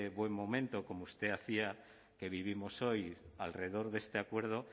buen momento como usted hacía que vivimos hoy alrededor de este acuerdo